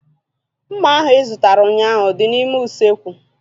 Mma ahu ị zụtara ụnyaahụ dị n'ime usekwu